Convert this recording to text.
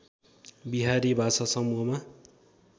बिहारी भाषा समूहमा